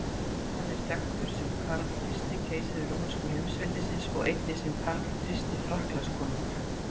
Hann er þekktur sem Karl fyrsti keisari rómverska heimsveldisins og einnig sem Karl fyrsti Frakklandskonungur.